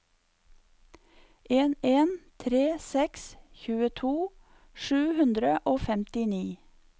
en en tre seks tjueto sju hundre og femtini